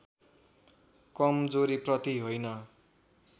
कमजोरीप्रति होइन